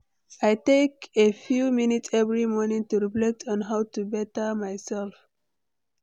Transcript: I take a few minutes every morning to reflect on how to better myself.